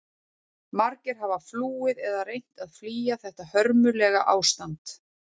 Margir hafa flúið eða reynt að flýja þetta hörmulega ástand.